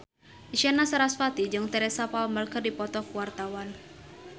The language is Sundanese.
Isyana Sarasvati jeung Teresa Palmer keur dipoto ku wartawan